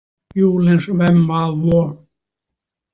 Julens hvem hvad hvor.